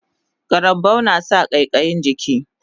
Karambau nasa ƙaiƙayin jiki